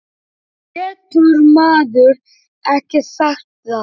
Getur maður ekki sagt það?